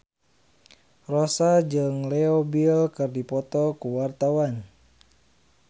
Rossa jeung Leo Bill keur dipoto ku wartawan